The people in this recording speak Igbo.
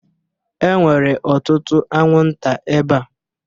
E nwere ọtụtụ anwụnta ebea